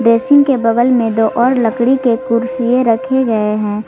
Dashing के बगल में दो और लकड़ी के कुर्सिए रखे गए हैं।